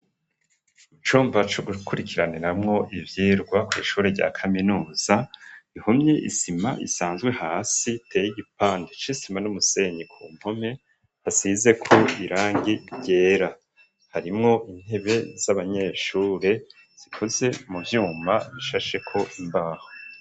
Mu cumba co gukurikiraniramwo ivyigwa kw'ishure rya kaminuza ihumye isima isanzwe hasi teye igipande isima n'umusenyi ku nkome hasize ku irangi ryera harimwo intebe z'abanyeshure zikuze mu vyuma bishasheko imbaho.